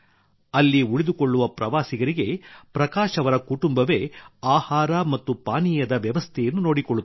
ಅಲ್ಲಿ ಉಳಿದುಕೊಳ್ಳುವ ಪ್ರವಾಸಿಗರಿಗೆ ಪ್ರಕಾಶ್ ಅವರ ಕುಟುಂಬವೇ ಆಹಾರ ಮತ್ತು ಪಾನೀಯದ ವ್ಯವಸ್ಥೆಯನ್ನು ನೋಡಿಕೊಳ್ಳುತ್ತದೆ